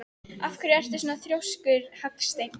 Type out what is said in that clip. Af hverju ertu svona þrjóskur, Hallsteinn?